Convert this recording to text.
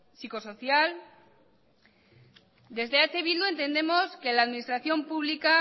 psicosocial desde eh bildu entendemos que la administración pública